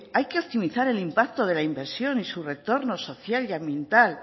hay que optimizar el impacto de la inversión y su retorno social y ambiental